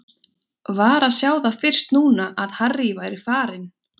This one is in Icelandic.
Var að sjá það fyrst núna að Harry væri farinn.